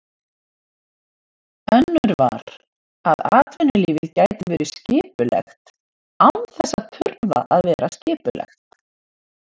Önnur var, að atvinnulífið gæti verið skipulegt án þess að þurfa að vera skipulagt.